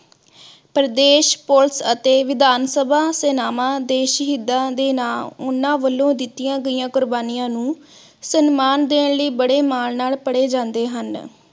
Pradesh police ਅਤੇ ਵਿਧਾਨ ਸਭਾ ਸੇਨਾਵਾਂ ਦੇ ਸ਼ਹੀਦਾਂ ਦੇ ਨਾ ਓਹਨਾ ਵਲੋਂ ਦਿਤੀਆਂ ਗਿਆ ਕੁਰਬਾਨੀਆਂ ਨੂੰ ਸਨਮਾਨ ਦੇਣ ਲਾਈਂ ਬੜੇ ਮਾਨ ਨਾਲ ਪੜੇ ਜਾਂਦੇ ਹਨ।